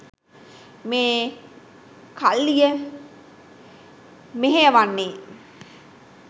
මේ කල්ලිය මෙහෙයවන්නේ.